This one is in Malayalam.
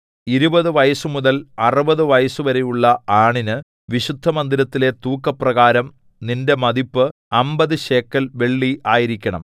ഇരുപതു വയസ്സുമുതൽ അറുപതു വയസ്സുവരെയുള്ള ആണിന് വിശുദ്ധമന്ദിരത്തിലെ തൂക്കപ്രകാരം നിന്റെ മതിപ്പ് അമ്പത് ശേക്കെൽ വെള്ളി ആയിരിക്കണം